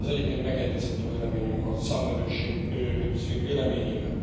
Egyébként megegyezett a véleményünk a Számvevőszék véleményével.